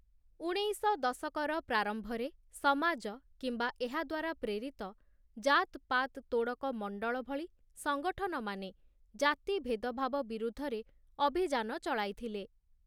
ଉଣେଇଶ ଦଶକର ପ୍ରାରମ୍ଭରେ, 'ସମାଜ' କିମ୍ବା ଏହା ଦ୍ୱାରା ପ୍ରେରିତ 'ଜାତ୍ ପାତ୍ ତୋଡ଼କ ମଣ୍ଡଳ' ଭଳି ସଙ୍ଗଠନମାନେ ଜାତି ଭେଦଭାବ ବିରୁଦ୍ଧରେ ଅଭିଯାନ ଚଳାଇଥିଲେ ।